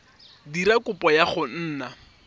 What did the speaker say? dira kopo ya go nna